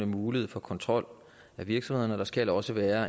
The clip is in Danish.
mulighed for kontrol af virksomhederne og der skal også være